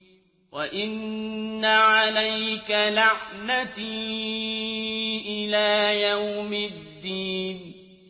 وَإِنَّ عَلَيْكَ لَعْنَتِي إِلَىٰ يَوْمِ الدِّينِ